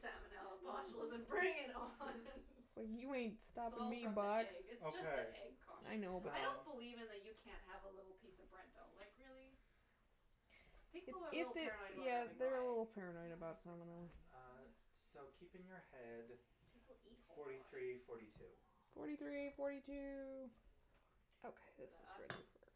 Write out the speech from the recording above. Salmonella, botulism, bring it on It's like, you ain't It's stopping all me, from the box. egg. It's just the Okay. egg caution. I know. I don't Um believe in the you can't have a little piece of bread dough. Like, really? People are a If little they, paranoid about yeah, having raw they're a egg. little paranoid Raw about eggs are salmonella. fine. Uh, so keep in your head People eat whole forty raw three, eggs. forty two. Forty three, forty two. Forty two. Okay, Is this is that us? ready for it.